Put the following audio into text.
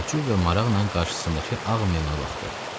Təəccüb və maraqla qarşısındakı ağ meymuna baxdı.